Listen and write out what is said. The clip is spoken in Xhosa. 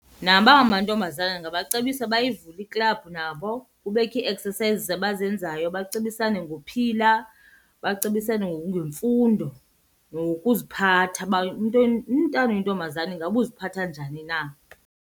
Nabangamantombazana ndingabacebisa bayivule iklabhu nabo, kubekho ii-exercises abazenzayo bacebisane ngophila, bacebisane ngemfundo nokuziphatha uba umntana oyintombazana ingaba uziphatha njani na.